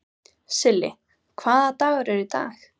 Silli, hvaða dagur er í dag?